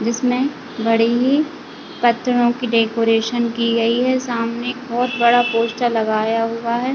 जिसमे घड़ीमी पत्थरों की डेकोरेशन की गई है सामने बहोत बड़ा पोस्टर लगाया हुआ है।